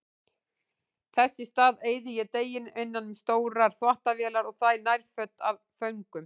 Þess í stað eyði ég deginum innan um stórar þvottavélar og þvæ nærföt af föngum.